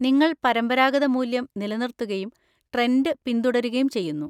നിങ്ങൾ പരമ്പരാഗത മൂല്യം നിലനിർത്തുകയും ട്രെൻഡ് പിന്തുടരുകയും ചെയ്യുന്നു.